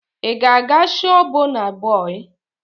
Ị ga-aga shoo Bọna bọị?